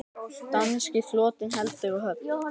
Danski flotinn heldur úr höfn!